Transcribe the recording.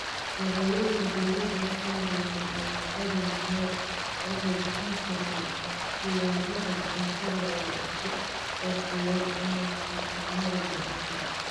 Beeralayda diirada saaraya alaabada niche waxay bixin karaan ikhtiyaarada cuntada la isku qurxiyo ama farsamada gacanta.